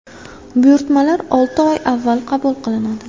Buyurtmalar olti oy avval qabul qilinadi.